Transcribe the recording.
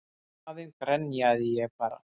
Í staðinn grenjaði ég bara.